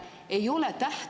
Aitäh, hea kolleeg!